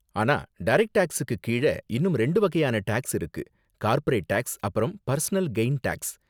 ஆனா டரக்ட் டேக்ஸுக்கு கீழ இன்னும் ரெண்டு வகையான டேக்ஸ் இருக்கு கார்ப்பரேட் டேக்ஸ் அப்பறம் பர்சனல் கெய்ன் டேக்ஸ்.